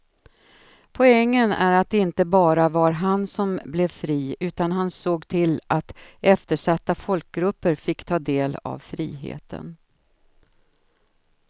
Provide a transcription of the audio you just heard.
Poängen är att det inte bara var han som blev fri utan han såg till att eftersatta folkgrupper fick ta del av friheten.